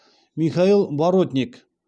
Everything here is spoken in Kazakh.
михаил боротник